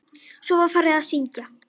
Svo var farið að syngja.